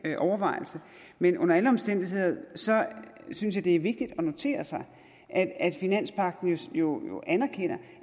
overvejelse men under alle omstændigheder synes jeg det er vigtigt at notere sig at finanspagten jo anerkender